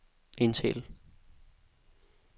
indtal